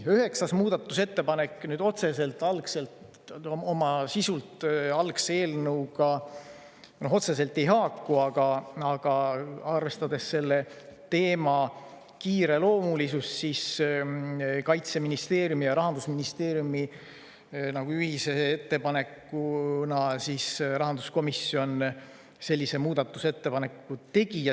Üheksas muudatusettepanek oma sisult algse eelnõuga otseselt ei haaku, aga arvestades selle teema kiireloomulisust, siis Kaitseministeeriumi ja Rahandusministeeriumi ühise ettepaneku alusel rahanduskomisjon sellise muudatusettepaneku tegi.